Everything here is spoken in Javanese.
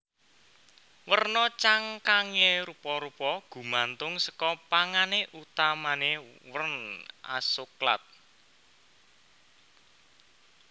Werna cangkange rupa rupa gumantung saka pangane utamane wern asoklat